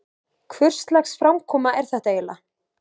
Hvurslags framkoma er þetta eiginlega?